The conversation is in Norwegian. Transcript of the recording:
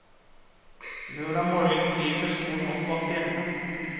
Lørdag morgen kryper solen opp bak fjellene.